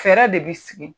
Fɛɛrɛ de bi sigi